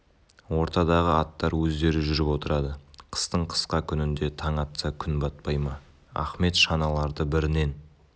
ортадағы аттар өздері жүріп отырады қыстың қысқа күнінде таң атса күн батпай ма ахмет шаналарды бірінен